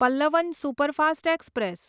Pallavan superfast express